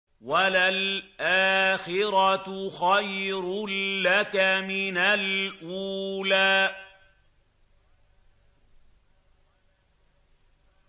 وَلَلْآخِرَةُ خَيْرٌ لَّكَ مِنَ الْأُولَىٰ